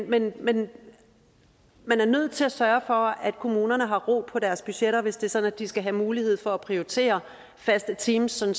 men men man er nødt til at sørge for at kommunerne har ro på deres budgetter hvis det er sådan at de skal have mulighed for prioritere faste teams sådan